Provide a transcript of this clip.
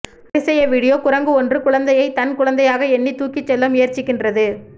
அதிசய வீடியோ குரங்கு ஒன்று குழந்தையை தன் குழந்தையாக எண்ணி தூக்கி செல்ல முயற்சிக்கின்றது